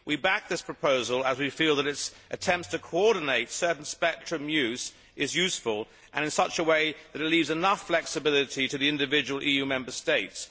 We back this proposal as we feel that its attempt to coordinate certain spectrum use is useful and it is done in such a way that it leaves enough flexibility to the individual EU Member States.